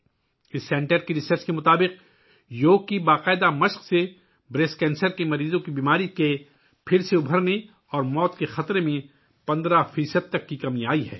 اس مرکز کی تحقیق کے مطابق یوگا کی باقاعدہ مشق سے چھاتی کے کینسر کے مریضوں کے دوبارہ ٹھیک ہونے اور موت کے خطرات میں 15 فیصد تک کمی آئی ہے